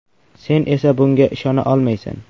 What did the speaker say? Sen esa bunga ishona olmaysan.